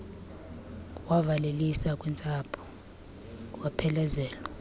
wavalelisa kwintsapho waphelezelwa